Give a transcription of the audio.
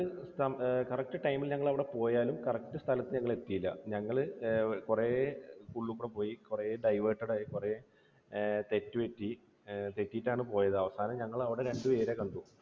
correct time ൽ ഞങ്ങൾ അവിടെ പോയാലും correct സ്ഥലത്ത് ഞങ്ങൾ എത്തിയില്ല. ഞങ്ങൾ കുറെ ഉള്ളില്കൂടെ പോയി, കുറെ diverted ആയി, കുറെ ഏർ തെറ്റുപറ്റി, ഏർ തെറ്റിയിട്ടാണ് പോയത്. അവസാനം ഞങ്ങൾ അവിടെ രണ്ടുപേരെ കണ്ടു.